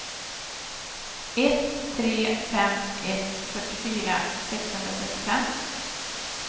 ett tre fem ett fyrtiofyra sexhundratrettiofem